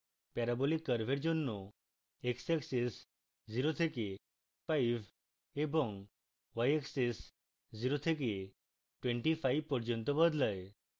parabolic curve জন্য xaxis 0 থেকে 5 এবং yaxis 0 থেকে 25 পর্যন্ত বদলায়